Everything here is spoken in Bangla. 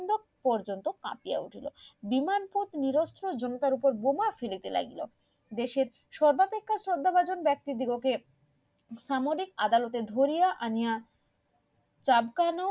পর্যন্ত কাঁপিয়া উঠলো বিনান্তক নিরস্ত্র জমিদারদের ওপরে বোমা ফেলিতে লাগিল দেশের সামরিক আদালতে ধরিয়া আনিয়া চাপকানোর